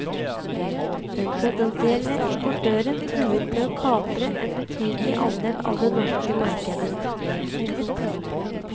Den potensielle importøren truet med å kapre en betydelig andel av det norske markedet.